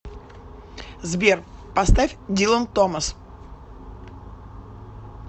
сбер поставь дилан томас